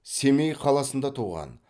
семей қаласында туған